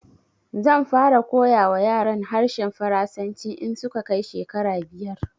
Zan fara koya wa yaran harshen Faransanci in su ka kai shekara biyar